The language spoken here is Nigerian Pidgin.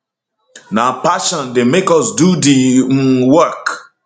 na passion dey make us do di um work